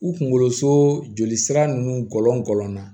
U kunkolo so joli sira ninnu gɔlɔn gɔlɔnna na